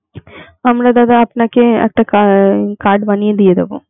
আমরা দাদা আপনাকে একটা কার~ card বানিয়ে দিয়ে দেব.